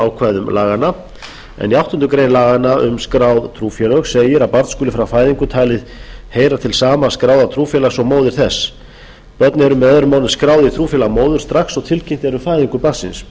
ákvæðum laganna en í áttundu grein laganna um skrá trúfélög segir að barn skuli frá fæðingu talið heyra til sama skráða trúfélags og móðir þess börn eru möo skráð í trúfélag móður strax og tilkynnt er um fæðingu barnsins